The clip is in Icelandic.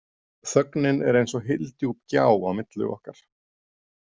Þögnin er eins og hyldjúp gjá á milli okkar.